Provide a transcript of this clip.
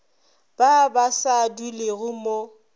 ba ba sa dulego mo